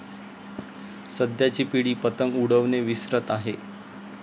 सध्याची पिढी पतंग उडवणे विसरत आहे.